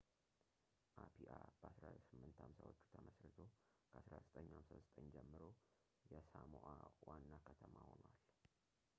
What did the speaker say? አፒአ በ1850ዎቹ ተመሥርቶ ከ1959 ጀምሮ የሳሞኣ ዋና ከተማ ሆኗል